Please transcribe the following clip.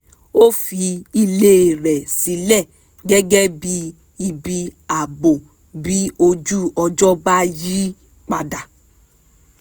ó fi ilé rẹ̀ sílẹ̀ gẹ́gẹ́ bí ibi ààbò bí ojú ọjọ́ bá yí padà